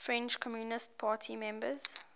french communist party members